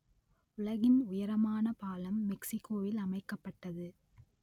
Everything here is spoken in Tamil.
உலகின் உயரமான பாலம் மெக்சிக்கோவில் அமைக்கப்பட்டது